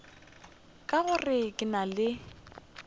ka gore ke na le